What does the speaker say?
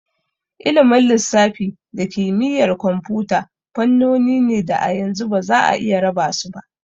Ilimin lissafi da kimiyyar kwamfuta fannoni ne da a yanzu ba za'a iya raba su ba.